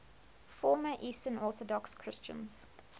former eastern orthodox christians